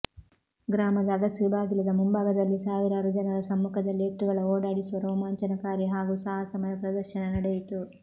ಗ್ರಾಮದ ಅಗಸಿ ಬಾಗಿಲದ ಮುಂಬಾಗದಲ್ಲಿ ಸಾವಿರಾರು ಜನರ ಸಮ್ಮುಖದಲ್ಲಿ ಎತ್ತುಗಳ ಓಡಾಡಿಸುವ ರೋಮಾಂಚನಕಾರಿ ಹಾಗೂ ಸಾಹಸಮಯ ಪ್ರದರ್ಶನ ನಡೆಯಿತು